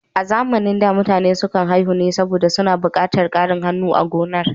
A zamanin da, mutane sukan haihu ne saboda suna buƙatar ƙarin hannu a gonar.